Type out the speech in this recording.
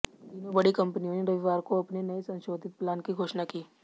तीनों बड़ी कंपनियों ने रविवार को अपने नये संशोधित प्लान की घोषणा की